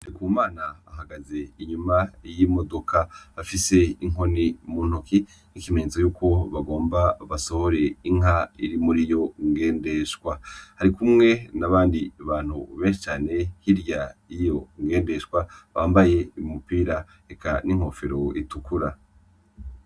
Ndikumana ahagaze inyuma y'imodoka, afise inkoni mu ntoke nk'ikimenyetso cuko bagomba basohore inka iri muri iyo ngendeshwa. Arikumwe n'abandi bantu benshi cane hirya y'iyo ngendeshwa, bambaye umupira eka n'inkofero itukura.